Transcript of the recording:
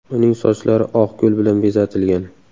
Uning sochlari oq gul bilan bezatilgan.